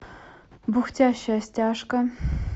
бухтящая стяжка